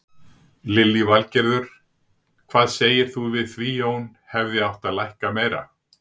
Lillý Valgerður: Hvað segir þú við því Jón, hefði átt að lækka meira?